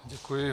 Děkuji.